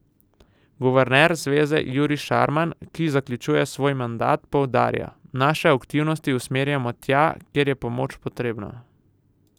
Guverner zveze Jurij Šarman, ki zaključuje svoj mandat, poudarja: 'Naše aktivnosti usmerjamo tja, kjer je pomoč potrebna.